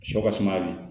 Sɔ ka suma bi